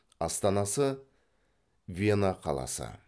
астанасы вена қаласы